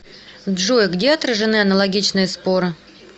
джой где отражены аналогичные споры